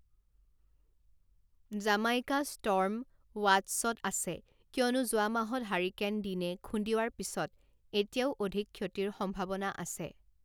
Jamaica storm ৱাট্চত আছে, কিয়নো যোৱা মাহত হাৰিকেন ডিনে খুন্দিওৱাৰ পিছত এতিয়াও অধিক ক্ষতিৰ সম্ভাৱনা আছে।